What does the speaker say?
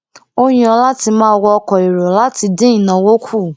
ó yàn láti máa wọ ọkọ èrò láti dín ìnáwó kù